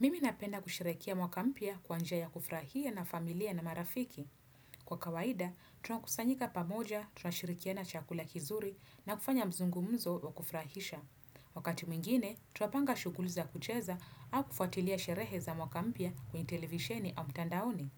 Mimi napenda kusherehekea mwaka mpya kwa njia kufurahia na familia na marafiki. Kwa kawaida, tunakusanyika pamoja, tunashirikiana chakula kizuri na kufanya mzungumzo wa kufrahisha. Wakati mwingine, tunapanga shuguli za kucheza au kufuatilia sherehe za mwaka kwenye televisheni au mtandaoni.